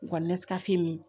Nga nesika fiye min